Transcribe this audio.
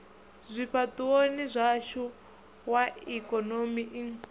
zwifhaṱuwoni zwashu wa ikonomi i